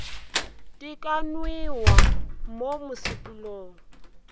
di ka nwewa mo mosepelong